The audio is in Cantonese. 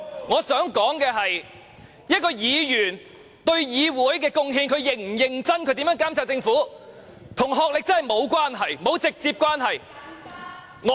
我想說的是，一名議員對議會是否有貢獻，視乎他是否認真及如何監察政府，與學歷真的沒有直接關係。